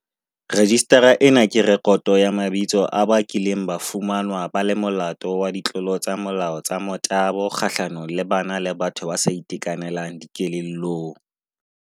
Rejistara ena ke rekoto ya mabitso ya ba kileng ba fumanwa ba le molato wa ditlolo tsa molao tsa motabo kgahlanong le bana le batho ba sa itekanelang dikelellong.